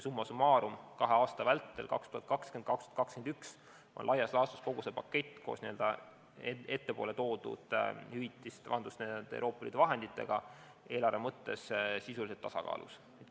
Summa summarum kahe aasta vältel, 2020–2021, on laias laastus kogu see pakett koos n-ö ettepoole toodud Euroopa Liidu vahenditega eelarve mõttes sisuliselt tasakaalus.